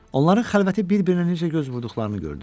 Onların xəlvəti bir-birinə necə göz vurduqlarını gördüm.